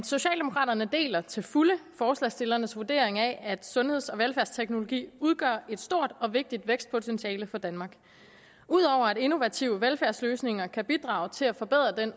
socialdemokraterne deler til fulde forslagsstillernes vurdering af at sundheds og velfærdsteknologi udgør et stort og vigtigt vækstpotentiale for danmark ud over at innovative velfærdsløsninger kan bidrage til at forbedre den